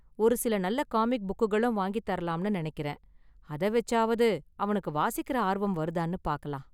ஒரு சில நல்ல காமிக் புக்குகளும் வாங்கித்தரலாம்னு நினைக்கறேன், அத வெச்சாவது அவனுக்கு வாசிக்குற ஆர்வம் வருதானு பார்க்கலாம்.